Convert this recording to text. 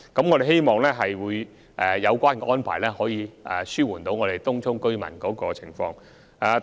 我們希望有關安排有助紓緩東涌居民的情況。